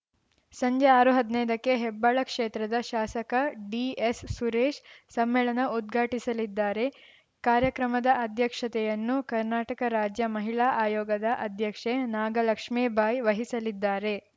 ಸಂಜೆ ಆರು ಹದ್ನೈದಕ್ಕೆ ಹೆಬ್ಬಾಳ ಕ್ಷೇತ್ರದ ಶಾಸಕ ಡಿಎಸ್‌ಸುರೇಶ್‌ ಸಮ್ಮೇಳನ ಉದ್ಘಾಟಿಸಲಿದ್ದಾರೆ ಕಾರ್ಯಕ್ರಮದ ಅಧ್ಯಕ್ಷತೆಯನ್ನು ಕರ್ನಾಟಕ ರಾಜ್ಯ ಮಹಿಳಾ ಆಯೋಗದ ಅಧ್ಯಕ್ಷೆ ನಾಗಲಕ್ಷ್ಮೇ ಬಾಯಿ ವಹಿಸಲಿದ್ದಾರೆ